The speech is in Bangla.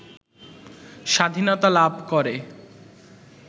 স্বাধীনতা লাভ করে